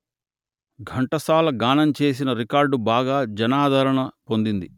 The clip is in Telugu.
ఘంటసాల గానం చేసిన రికార్డు బాగా జనాదరణ పొందింది